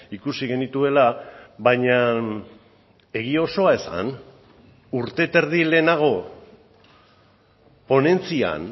ikusi genituela baina egia osoa esan urte eta erdi lehenago ponentzian